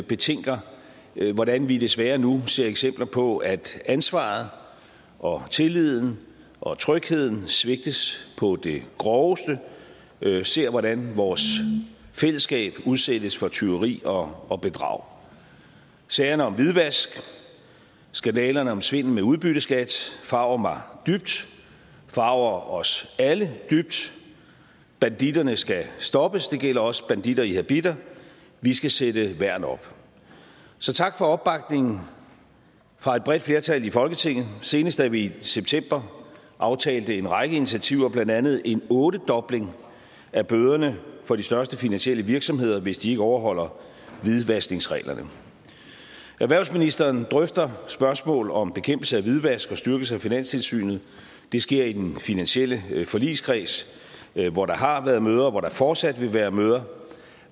betænker hvordan vi desværre nu ser eksempler på at ansvaret og tilliden og trygheden svigtes på det groveste ser hvordan vores fællesskab udsættes for tyveri og og bedrag sagerne om hvidvask skandalerne om svindel med udbytteskat forarger mig dybt forarger os alle dybt banditterne skal stoppes det gælder også banditter i habitter vi skal sætte værn op så tak for opbakningen fra et bredt flertal i folketinget senest da vi i september aftalte en række initiativer blandt andet en ottedobling af bøderne for de største finansielle virksomheder hvis de ikke overholder hvidvaskningsreglerne erhvervsministeren drøfter spørgsmål om bekæmpelse af hvidvask og styrkelse af finanstilsynet det sker i den finansielle forligskreds hvor der har været møder og hvor der fortsat vil være møder